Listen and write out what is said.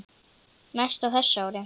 Mest á þessu ári.